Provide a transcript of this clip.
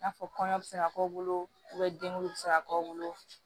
I n'a fɔ kɔɲɔ bɛ se ka k'u bolo denw bɛ se ka k'aw bolo